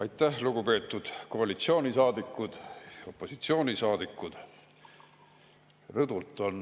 Aitäh, lugupeetud koalitsioonisaadikud ja opositsioonisaadikud!